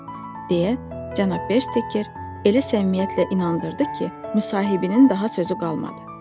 deyə cənab Beker elə səmimiyyətlə inandırdı ki, müsahibinin daha sözü qalmadı.